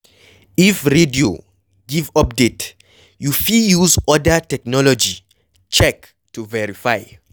if radio give update, you fit use oda technology check to verify